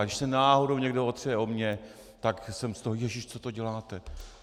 A když se náhodou někdo otře o mě, tak jsem z toho - jéžiš, co to děláte?